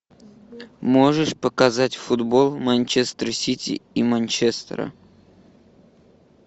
можешь показать футбол манчестер сити и манчестера